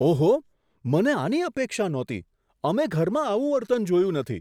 ઓહો, મને આની અપેક્ષા નહોતી. અમે ઘરમાં આવું વર્તન જોયું નથી.